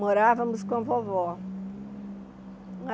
Morávamos com a vovó.